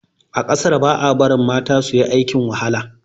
A kasar ba a barin mata suyi aikin wahala.